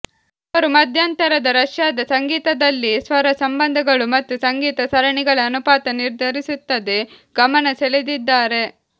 ಅವರು ಮಧ್ಯಂತರದ ರಷ್ಯಾದ ಸಂಗೀತದಲ್ಲಿ ಸ್ವರ ಸಂಬಂಧಗಳು ಮತ್ತು ಸಂಗತ ಸರಣಿಗಳ ಅನುಪಾತ ನಿರ್ಧರಿಸುತ್ತದೆ ಗಮನಸೆಳೆದಿದ್ದಾರೆ